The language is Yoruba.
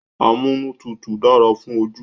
Amúnútutù dára fún ojú